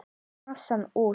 Fletjið massann út.